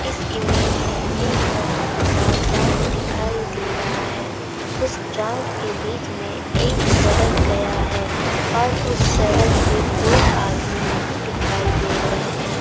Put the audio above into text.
इस इमेज में एक बहुत बड़ा ग्राउंड दिखाई दे रहा हैउस ग्राउंड के बीच मे एक सड़क गया हैऔर उस सड़क पे कोई आदमी नहीं दिखाई दे रहे है|